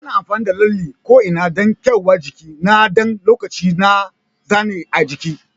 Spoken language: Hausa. Ana amfani da lalle ko'ina dan kwaiyar jiki na ɗan lokaci da zane a jiki.